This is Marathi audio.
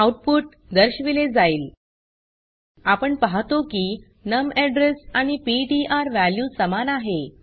आउटपुट दर्शविले जाईल आपण पाहतो की नम एड्रेस आणि पीटीआर वॅल्यू समान आहे